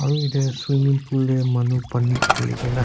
aru idey swimming pool deh manu pani khili kena--